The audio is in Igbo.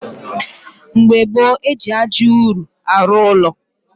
Mgbe gboo, eji ájá ụrụ arụ ụlọ